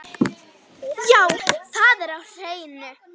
Já, það er á hreinu.